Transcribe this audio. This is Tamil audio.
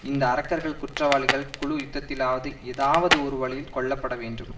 இந்த அரக்கர்கள் குற்றவாளிகள் குழு யுத்தத்திலாவது ஏதாவதொரு வழியில் கொல்லப்பட வேண்டும்